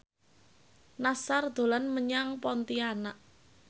Nassar dolan menyang Pontianak